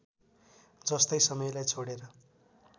जस्तै समयलाई छोडेर